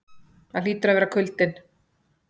Það hlýtur að vera kuldinn.